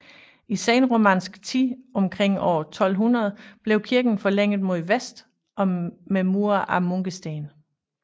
I senromansk tid omkring år 1200 blev kirken forlænget mod vest med mure af munkesten